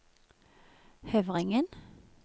Høvringen